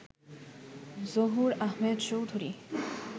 Zahur Ahmed Chowdhury